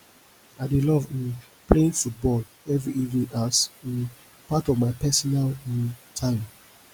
i dey love um playing football every evening as um part of my personal um time